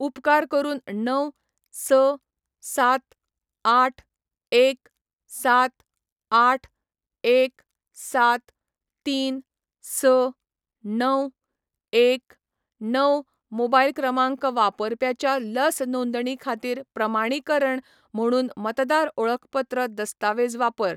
उपकार करून णव, स, सात, आठ, एक, सात, आठ, एक, सात, तीन, स, णव, एक णव मोबायल क्रमांक वापरप्याच्या लस नोंदणी खातीर प्रमाणीकरण म्हणून मतदार ओळखपत्र दस्तावेज वापर.